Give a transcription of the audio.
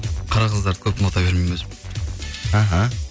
қара қыздарды көп ұната бермеймін өзім іхі